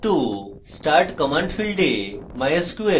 path to start command: ফীল্ডে